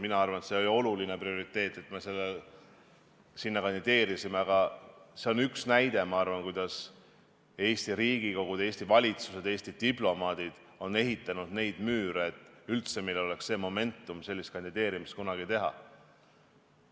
Mina arvan, et see on prioriteet, et me selle sinna kandideerisime, aga see on minu arvates üks näide sellest, kuidas Eesti Riigikogud, Eesti valitsused ja Eesti diplomaadid on ehitanud neid müüre, et meil oleks üldse kunagi see momentum sellist kandideerimist teha.